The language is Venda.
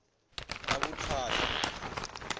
ravhuthata